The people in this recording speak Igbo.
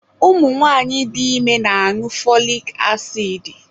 Ụmụ nwanyị dị ime na-añụ fọlik asidi.